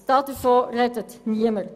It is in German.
Davon spricht niemand.